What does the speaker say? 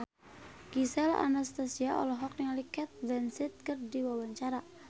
Gisel Anastasia olohok ningali Cate Blanchett keur diwawancara